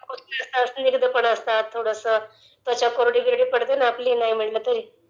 उष्ण पण असतात...स्निग्धपण असताता....थोडसं त्वचा कोरडी पडते ना ...नाही म्हटलं तरी....